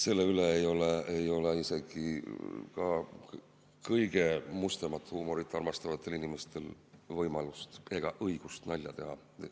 Selle üle ei ole isegi kõige mustemat huumorit armastavatel inimestel võimalust ega õigust nalja teha.